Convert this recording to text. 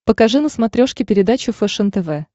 покажи на смотрешке передачу фэшен тв